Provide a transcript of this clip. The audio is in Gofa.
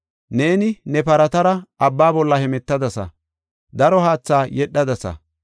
Neeni ne paratara abba bolla hemetadasa; daro haatha yedhadasa.